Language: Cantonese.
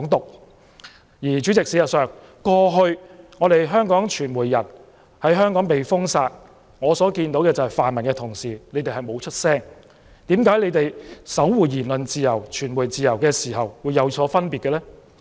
代理主席，事實上，香港傳媒人過去被封殺，泛民同事沒有發聲，為何他們守護言論自由、新聞自由的態度會有所分別呢？